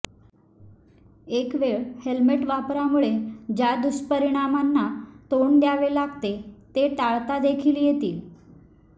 एकवेळ हेल्मेट वापरामुळे ज्या दुष्परिणामांना तोंड द्यावे लागते ते टाळता देखील येतील